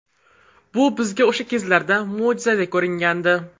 Bu bizga o‘sha kezlarda mo‘jizaday ko‘ringandi.